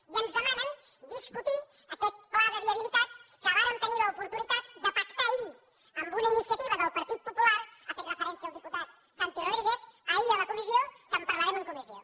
i ens demanen discutir aquest pla de viabilitat que vàrem tenir l’oportunitat de pactar ahir amb una iniciativa del partit popular hi ha fet referència el diputat santi rodríguez ahir a la comissió que en parlarem en comissió